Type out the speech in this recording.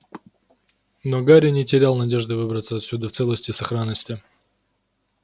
но гарри не терял надежды выбраться отсюда в целости и сохранности